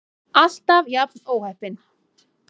Alltaf jafn óheppin!